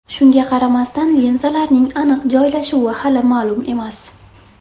Shunga qaramasdan, linzalarning aniq joylashuvi hali ma’lum emas.